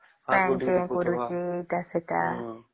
କି ଏମିତି କରୁଛେ ଏଟା ସେଟା